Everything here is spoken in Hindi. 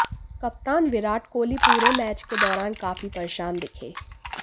कप्तान विराट कोहली पूरे मैच के दौरान काफी परेशान दिखे